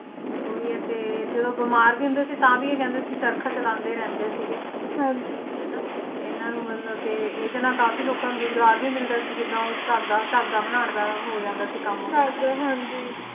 ਉਹੀ ਏ ਤੇ ਜਦੋਂ ਬਿਮਾਰ ਵੀ ਹੁੰਦੇ ਸੀ ਤਾਂ ਵੀ ਇਹ ਕਹਿੰਦੇ ਸੀ ਚਰਖਾ ਚਲਾਉਂਦੇ ਰਹਿੰਦੇ ਸੀਗੇ ਤੇ ਇਹਨਾਂ ਨੂੰ ਮਤਲਬ ਕੇ ਇਹਦੇ ਨਾਲ ਕਾਫੀ ਲੋਕਾਂ ਨੂੰ ਰੁਜ਼ਗਾਰ ਵੀ ਮਿਲਦਾ ਸੀ ਜਿਦਾਂ ਉਹ ਧਾਗਾ ਧਾਗਾ ਬਣਾਉਣ ਦਾ ਹੋ ਜਾਂਦਾ ਸੀ ਕੰਮ ਉਹਦਾ ਹਨਾਂ ਧਾਗਾ